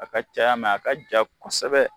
A ka caya mɛn a ka ja kosɛbɛ.